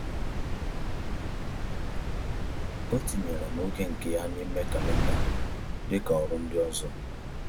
O tinyere m oge nke ya n’ime kalenda dịka ọrụ ndị ọzọ.